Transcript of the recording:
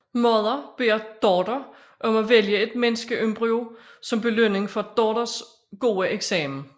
Mother beder daughter om at vælge et menneskeembryo som belønning for daughters gode eksamen